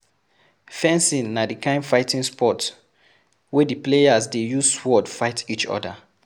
Fencing na di kind fighting sport wey di players dey use sword fight each other